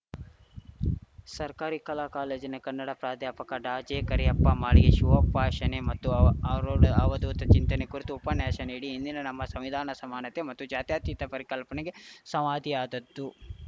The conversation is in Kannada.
ಸರ್ಕಾರಿ ಕಲಾ ಕಾಲೇಜಿನ ಕನ್ನಡ ಪ್ರಾಧ್ಯಾಪಕ ಡಾಜೆಕರಿಯಪ್ಪ ಮಾಳಿಗೆ ಶಿವೋಪಾಶನೆ ಮತ್ತು ಅವ ಆರೂಢ ಅವಧೂತ ಚಿಂತನೆ ಕುರಿತು ಉಪನ್ಯಾಶ ನೀಡಿ ಇಂದಿನ ನಮ್ಮ ಸಂವಿಧಾನದ ಸಮಾನತೆ ಮತ್ತು ಜಾತ್ಯಾತೀತ ಪರಿಕಲ್ಪನೆಗೆ ಸಂವಾತಿಯಾದ್ದದ್ದು